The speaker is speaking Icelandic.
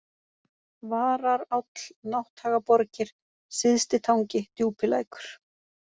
Vararáll, Nátthagaborgir, Syðstitangi, Djúpilækur